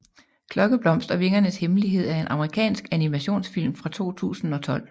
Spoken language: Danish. Klokkeblomst og vingernes hemmelighed er en amerikansk animationsfilm fra 2012